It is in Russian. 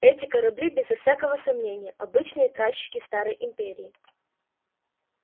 эти корабли безо всякого сомнения обычные тральщики старой империи